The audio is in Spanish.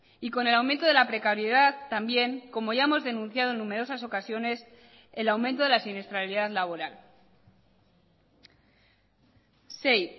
y con el aumento de la precariedad también como ya hemos denunciado en numerosas ocasiones el aumento de la siniestralidad laboral sei